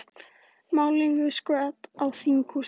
Málningu skvett á þinghúsið